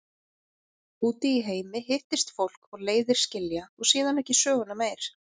Úti í heimi hittist fólk og leiðir skilja og síðan ekki söguna meir.